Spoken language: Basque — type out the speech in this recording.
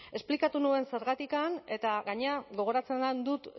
esplikatu nuen zergatik eta gainera gogoratzen dut